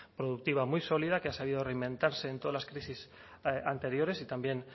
productiva muy sólida que ha sabido reinventarse en todas las crisis anteriores y también